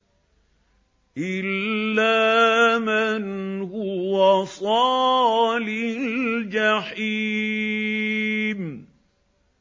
إِلَّا مَنْ هُوَ صَالِ الْجَحِيمِ